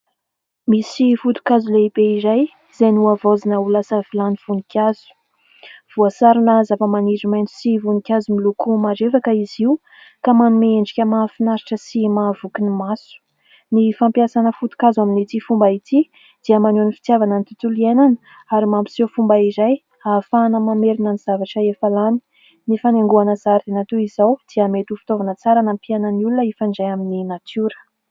Misy foto-kazo lehibe izay izay nohavaozina ho lasa vilany voninkazo. Voasarona zavamaniry maitso sy voninkazo miloko marevaka izy io ka manome endrika mahafinaritra sy mahavoky ny maso ny fampiasana foto-kazo, amin'ity fomba ity dia maneho ny fitiavana ny tontolo iainana ary mampiseho fomba iray ahafahana mamerina ny zavatra efa lany. Ny fanaingoana zaridaina toy izao dia mety ho fitaovana tsara mampiaina ny olona hifandray amin'ny natiora.